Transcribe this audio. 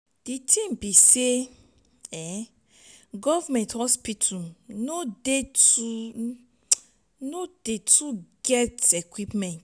di tin be sey government hospital no dey too too get equipment.